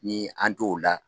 Ni an tɛ o la.